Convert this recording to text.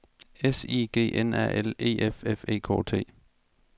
S I G N A L E F F E K T